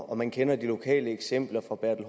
man kender de lokale eksempler fra herre